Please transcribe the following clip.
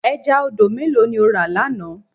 Ẹja odò mélòó ni o rà lánàá?